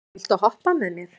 Bentey, viltu hoppa með mér?